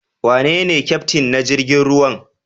Wanene Kyaftin na jirigin ruwan?